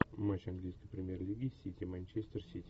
матч английской премьер лиги сити манчестер сити